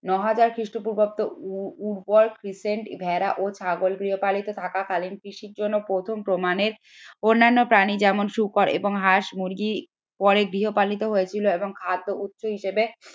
ন হাজার খ্রিস্টপূর্বাব্দ ভেড়া ও ছাগল গৃহপালিত থাকাকালীন কৃষির জন্য প্রথম প্রমাণের অন্যান্য প্রাণী যেমন শুকর এবং হাঁস মুরগি পরে গৃহপালিত হয়েছিল এবং খাদ্য হিসেবে